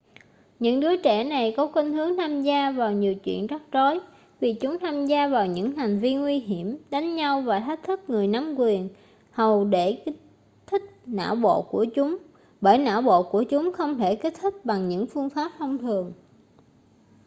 những đứa trẻ này có khuynh hướng tham gia vào nhiều chuyện rắc rối vì chúng tham gia vào những hành vi nguy hiểm đánh nhau và thách thức người nắm quyền hầu để kích thích não bộ của chúng bởi não bộ của chúng không thể kích thích bằng những phương pháp thông thường